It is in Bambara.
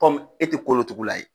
e te kolo tugu la ye.